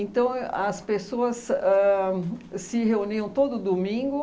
as pessoas ãh se reuniam todo domingo.